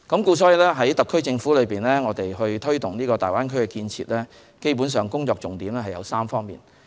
特區政府在推動大灣區建設基本上有3方面的工作重點。